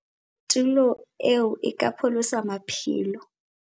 "Tulo eo e ka pholosa maphelo!"